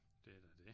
Det er da det